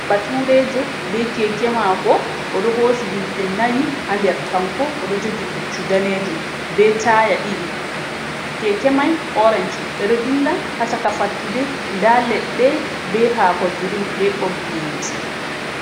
Baturejo be kekemako odo hosi himɓe nayii ha nder kanko odo jogi puccu danejum be taya ɗiɗi kekemai orenj ɓeɗo dilla ha chaka fattude nda leɗɗe be hako girin be ɓoggi yite.